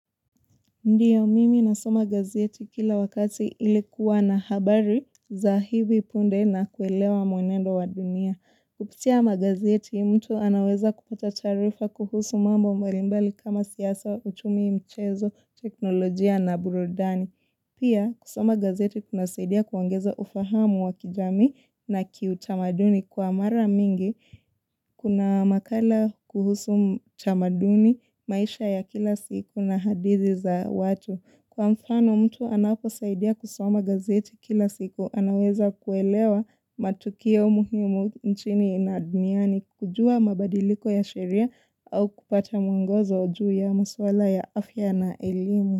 Ndio, mimi nasoma gazeti kila wakati ili kuwa na habari za hivi punde na kuelewa mwenendo wa dunia. Kupitia magazeti, mtu anaweza kupata taarifa kuhusu mambo mbalimbali kama siasa, uchumi mchezo, teknolojia na burudani. Pia, kusoma gazeti kunasaidia kuangeza ufahamu wa kijamii na kiutamaduni kwa mara mingi. Kuna makala kuhusu tamaduni, maisha ya kila siku na hadithi za watu. Kwa mfano mtu anaposaidia kusoma gazeti kila siku, anaweza kuelewa matukio muhimu nchini na duniani, kujua mabadiliko ya sheria au kupata mwongozo juu ya maswala ya afya na elimu.